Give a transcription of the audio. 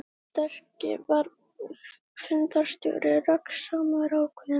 Gunnlaugur sterki var fundarstjóri, röggsamur, ákveðinn.